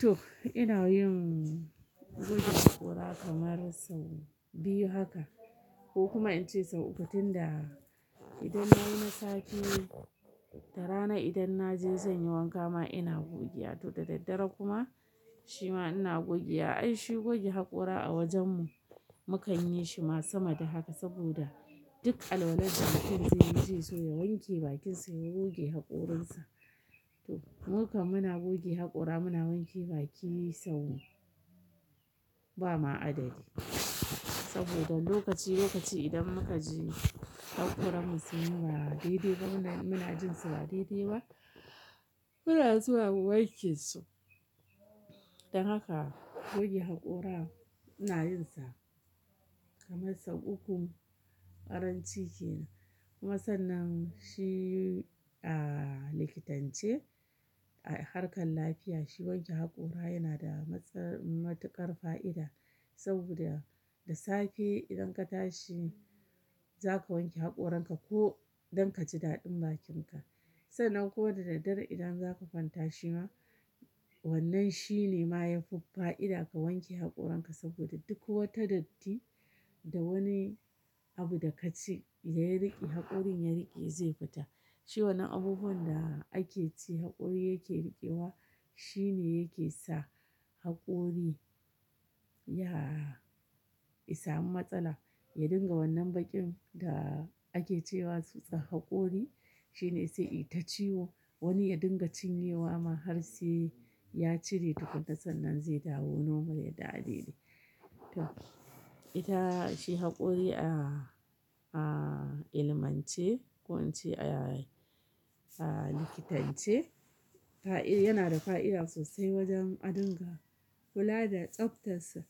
To ina yin goge haƙora kamar sau biyu haka ko kuma in ce sau uku tun da idan nayi na safe da rana idan na je zan yi wanka ma ina goge. To da daddare kuma shima ina gogewa. Ai shi goge haƙora a wajen mu mukan yi shi ma sama da haka saboda duk alwala mutum zai yi zai so ya wanke bakin sa ya goge haƙorin sa. To mukan muna goge haƙora muna wanke baki sau ba ma adadi saboda lokaci lokaci idan muka ji haƙoran mu sun ba daidai ba muna jin su ba daidai ba muna zuwa mu wanke su. Dan haka goge haƙora ina yin sa kamar sau uku karanci ke. Kuma sannan shi a likitance a harkar lafiya shi wanke haƙora yana da matuƙar fa'ida saboda da safe idan ka tashi za ka wanke haƙorin ka ko idan ka ji daɗin bakin ka. Sannan ko da daddare idan zaka fanta shi ma wannan shi ne ma yafi fa'ida ka wanke haƙorin ka saboda duk wata datti da wani abu da ka ci ya riƙe haƙorin ya riƙe zai fita. Shi wannan abubuwan da ake ci haƙori yake riƙewa shi ne yake sa haƙori ya ya samu matsala ya dinga wannan baƙin da ake cewa tsutsan haƙori shi ne sai ita ciwo wani ya dinga cinye wa ma har sai ya cire tukunna sannan zai dawo normal ya dawo daidai. To ita shi haƙori a ilimance ko in ce a likitance yana da fa'ida sosai wajen a dinga kula da tsaftar sa.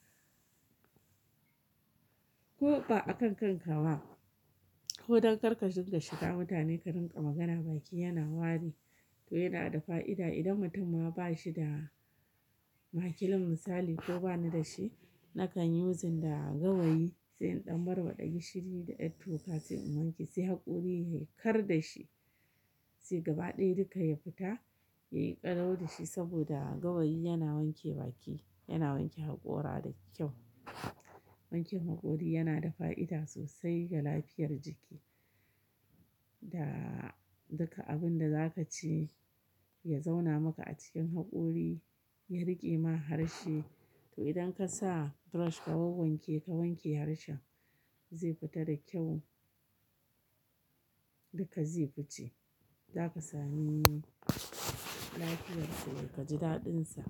Ko ba akan kanka ba ko don kar ka dinga shiga mutane ka rinƙa magana baki yana wari to yana da fa'ida idan mutum ma ba shi da makilin misali ko bani da shi nakan yi using da gawayi sai in ɗan barbaɗa gishiri da yar toka sai in wanke sai haƙori ya kar da shi sai gaba ɗaya duka ya fita yayi kalau da shi saboda gawayi yana wanke baki yana wanke haƙora da kyau. Wanken haƙori yana da fa'ida sosai ga lafiyar jiki da duka abun da za ka ci ya zauna maka a cikin haƙori ya riƙe ma harshe. To idan ka sa brush ka wanwanke ka wanke harshen zai fita da kyau duka zai fice. Za ka sami lafiyar sa da ka ji daɗin sa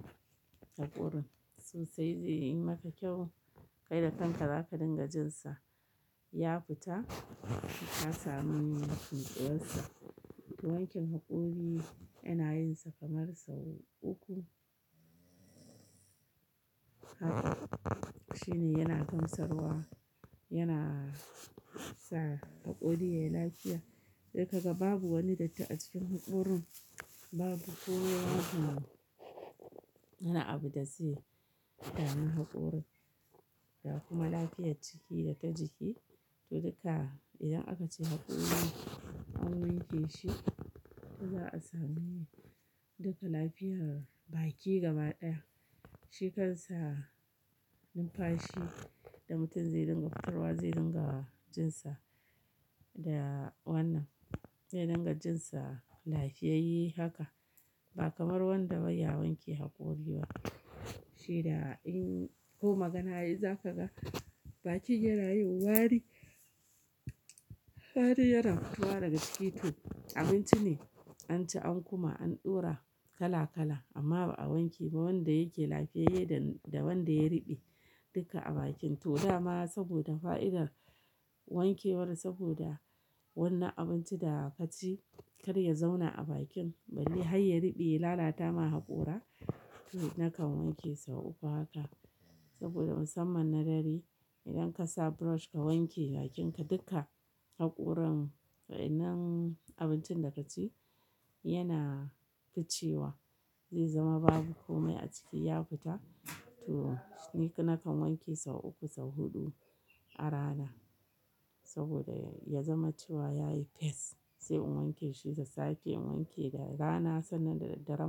haƙorin sosai zai yi maka kyau. Kai da kanka za ka dinga jin sa ya fita ka samu nutsuwar sa. To wanken haƙori ina yin sa kamar sau uku. Haka shine yana gamsarwa yana sa haƙori yayi lafiya. Sai ka ga babu wani datti a cikin haƙorin babu ko daya yana abu da zai dami haƙorin ga kuma lafiyar ciki da ta jiki. To duka idan aka ci haƙori an wanke shi to za a sami duka lafiyar baki gaba ɗaya. Shi kansa numfashi da mutum zai dinga fitarwa zai dinga jin sa da wannan zai dinga jin sa lafiyayye haka ba kamar wanda bai ya wanke haƙori ba. Shi da in ko magana yi za ka ga bakin yana yin wari. Wari yana fito wa daga ciki. To abinci ne an ci an kuma an ɗora kala kala amma ba a wanke ba wanda yake lafiyayye da wanda ya riɓe duka a bakin. To dama saboda fa'idar wankewar saboda wannan abinci da ka ci kar ya zauna a bakin balle har ya riɓe ya lalata ma haƙora to nakan wanke sau uku haka saboda musamman na dare idan ka sa brush ka wanke bakin ka duka haƙoran wa innan abincin da ka ci yana ficewa zai zama babu komai a ciki ya fita. To ni nakan wanke sau uku sau huɗu a rana saboda ya zama cewa yayi fes sai in wanke shi da safe in wanke da rana sannan da daddare ma.